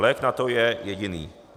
Lék na to je jediný.